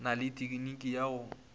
na le tekniki ya go